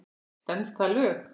Stenst það lög?